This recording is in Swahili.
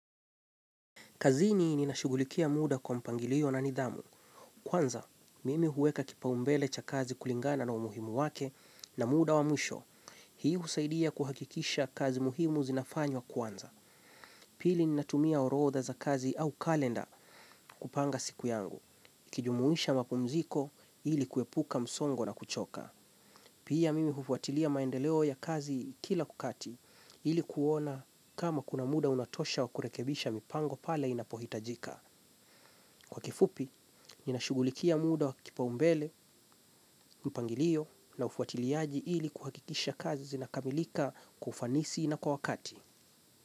Kazini ninashughulikia muda kwa mpangilio na nidhamu. Kwanza, mimi huweka kipa umbele cha kazi kulingana na umuhimu wake na muda wa mwisho. Hii husaidia kuhakikisha kazi muhimu zinafanywa wa kwanza. Pili ninatumia orotha za kazi au kalenda kupanga siku yangu. Nikijumuisha mapumziko ilikuepuka msongo na kuchoka. Pia mimi hufuatilia maendeleo ya kazi kila kukati ilikuona kama kuna muda unatosha wa kurekebisha mipango pale inapohitajika. Kwa kifupi, nina shughulikia muda wa kipa umbele, mpangilio na ufuatiliaji ili kuhakikisha kazi zinakamilika kwa ufanisi na kwa wakati.